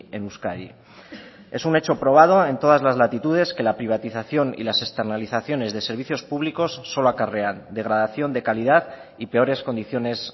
en euskadi es un hecho probado en todas las latitudes que la privatización y las externalizaciones de servicios públicos solo acarrean degradación de calidad y peores condiciones